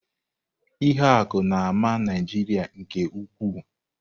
Ihuaku na-ama Naijiria nke ukwuu.